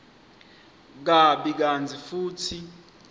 kabi kantsi futsi